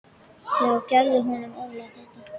Já gefðu honum Óla þetta.